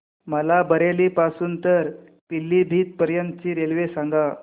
मला बरेली पासून तर पीलीभीत पर्यंत ची रेल्वे सांगा